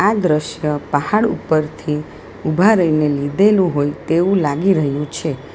દ્રશ્ય પહાડ ઉપરથી ઉભા રહીને લીધેલું હોય તેવું લાગી રહ્યું છે.